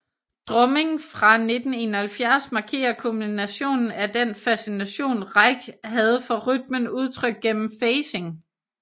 Drumming fra 1971 markerer kulminationen af den fascination Reich havde for rytmen udtrykt gennem phasing